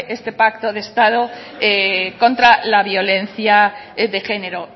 este pacto de estado contra la violencia de género